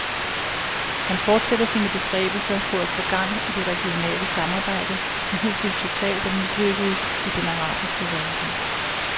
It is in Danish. Han fortsætter sine bestræbelser på at få gang i det regionale samarbejde, som hidtil totalt er mislykkedes i den arabiske verden.